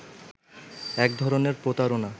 এক ধরনের প্রতারণা